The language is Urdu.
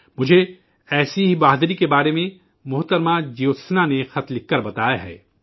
مجھے ایسی ہی بہادری کے بارے میں محترمہ جیوتسنا نے خط لکھ کر بتایا ہے